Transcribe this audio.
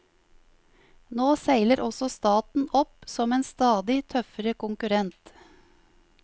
Nå seiler også staten opp som en stadig tøffere konkurrent.